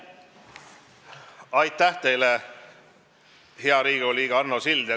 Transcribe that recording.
Aitäh teile, hea Riigikogu liige Arno Sild!